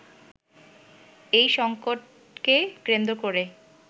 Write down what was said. এই সংকটকে কেন্দ্র করেই